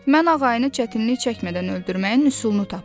Mən ağayını çətinlik çəkmədən öldürməyin üsulunu tapmışam.